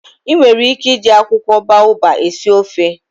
I nwere ike iji akwukwo baobab esi ofe.